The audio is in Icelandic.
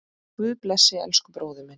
Guð blessi elsku bróður minn.